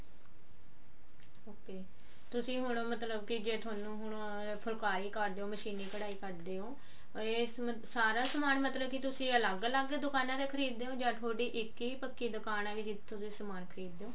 ok ਤੁਸੀਂ ਹੁਣ ਮਤਲਬ ਕੀ ਜੇ ਥੋਨੂੰ ਫੁਲਕਾਰੀ ਕਰਦੇ ਹੋ ਮਸ਼ੀਨੀ ਕਢਾਈ ਕੱਡਦੇ ਹੋ ਇਹ ਸਾਰਾ ਸਮਾਨ ਮਤਲਬ ਕੀ ਤੁਸੀਂ ਅਲਗ ਅਲੱਗ ਦੁਕਾਨਾ ਤੋਂ ਖਰੀਦਦੇ ਹੋ ਜਾਂ ਥੋਡੀ ਇੱਕ ਹੀ ਪੱਕੀ ਦੁਕਾਨ ਹੈ ਜਿੱਥੋਂ ਤੁਸੀਂ ਸਮਾਨ ਖਰੀਦਦੇ ਹੋ